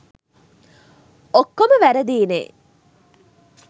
ඔක්කොම වැරදියිනේ.